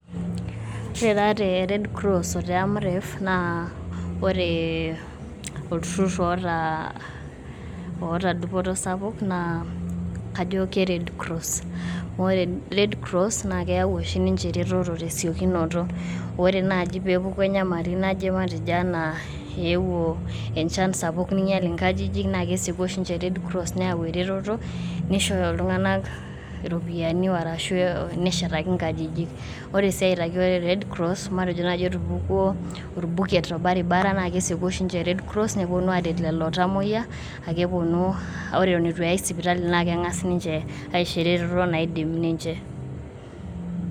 Ore taa te Red cross oo te Amref naa ore olturrur oota dupoto sapuk naa kajo ke red cross amu ore red cross naa keyau ninche ereteto tesiokinoto ore naaji peepuku enyamali naje enaa eyewuo enchan ninyiall nkajijik naa kesieuku ninche neyau eretoto nisho iltung`anak iropiyiani ashu eshetaki nkajijik, ore sii peyie epuku orbuket lorbaribara na kesieku ninche red cross neponu aret lolo tamoyia ore eton eitu eyai sipitali naa keng`as aisho eretoto naidim ninche aishoo.